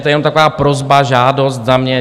To je jenom taková prosba, žádost za mě.